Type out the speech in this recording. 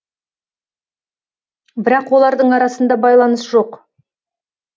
бірақ олардың арасында байланыс жоқ